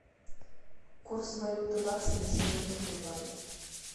курс валюты бакса на сегодня в сбербанке